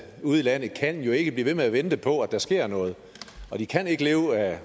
ude i landet kan jo ikke blive ved med at vente på at der sker noget og de kan ikke leve af